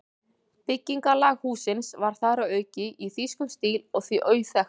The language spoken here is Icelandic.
Byggingarlag hússins var þar að auki í þýskum stíl og því auðþekkt.